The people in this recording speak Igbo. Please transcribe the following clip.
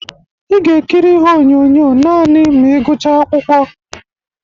Ị ga ekiri ihe onyonyo nanị ma ị gucha akwụkwọ